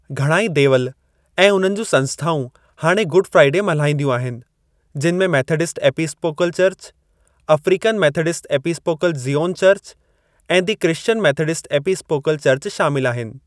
घणा ई देवल ऐं उन्हनि जूं संस्थाऊं हाणे गुड फ़्राइडे मल्हाईंदियूं आहिनि जिनि में Methodist Episcopal church, African Methodist Episcopal Zion church, ऐं the Christian Methodist Episcopal church शामिल आहिनि।